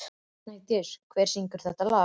Snædís, hver syngur þetta lag?